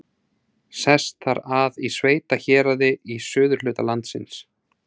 Sest þar að í sveitahéraði í suðurhluta landsins.